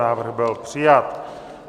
Návrh byl přijat.